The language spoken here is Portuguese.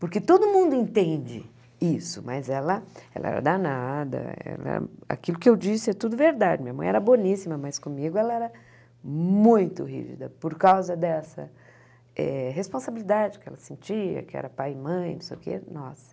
porque todo mundo entende isso, mas ela era danada, aquilo que eu disse é tudo verdade, minha mãe era boníssima, mas comigo ela era muito rigida, por causa dessa eh responsabilidade que ela sentia, que era pai e mãe, não sei o quê, nossa.